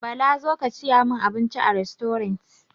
Bala zo ka saya min abinci a rastorant!